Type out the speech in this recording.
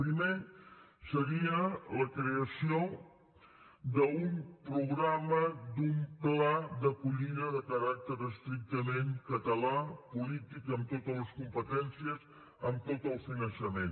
primer seria la creació d’un programa d’un pla d’acollida de caràcter estrictament català polític amb totes les competències amb tot el finançament